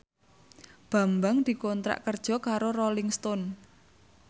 Bambang dikontrak kerja karo Rolling Stone